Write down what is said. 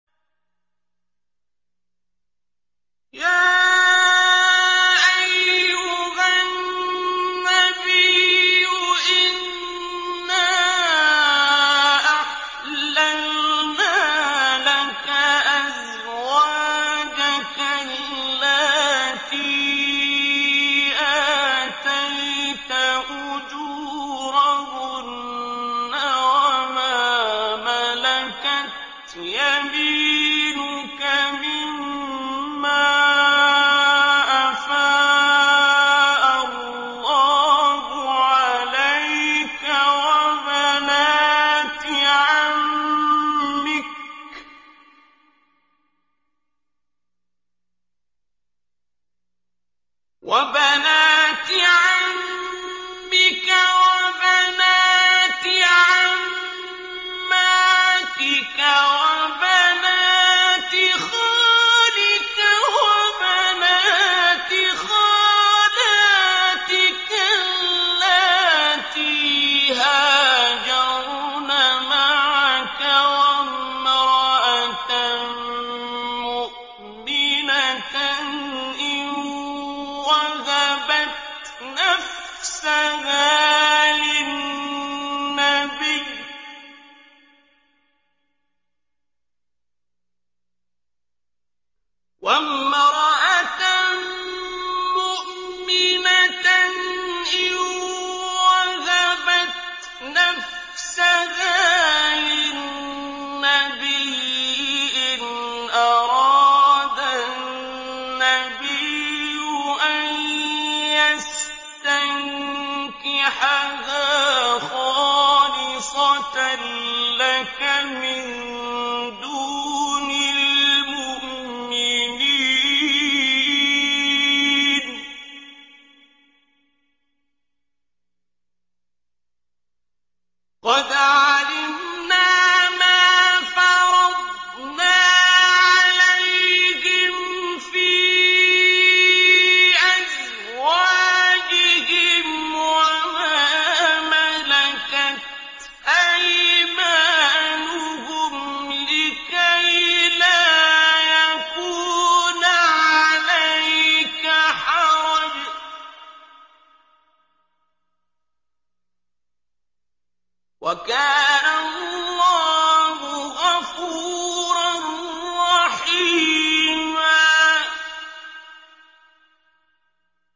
يَا أَيُّهَا النَّبِيُّ إِنَّا أَحْلَلْنَا لَكَ أَزْوَاجَكَ اللَّاتِي آتَيْتَ أُجُورَهُنَّ وَمَا مَلَكَتْ يَمِينُكَ مِمَّا أَفَاءَ اللَّهُ عَلَيْكَ وَبَنَاتِ عَمِّكَ وَبَنَاتِ عَمَّاتِكَ وَبَنَاتِ خَالِكَ وَبَنَاتِ خَالَاتِكَ اللَّاتِي هَاجَرْنَ مَعَكَ وَامْرَأَةً مُّؤْمِنَةً إِن وَهَبَتْ نَفْسَهَا لِلنَّبِيِّ إِنْ أَرَادَ النَّبِيُّ أَن يَسْتَنكِحَهَا خَالِصَةً لَّكَ مِن دُونِ الْمُؤْمِنِينَ ۗ قَدْ عَلِمْنَا مَا فَرَضْنَا عَلَيْهِمْ فِي أَزْوَاجِهِمْ وَمَا مَلَكَتْ أَيْمَانُهُمْ لِكَيْلَا يَكُونَ عَلَيْكَ حَرَجٌ ۗ وَكَانَ اللَّهُ غَفُورًا رَّحِيمًا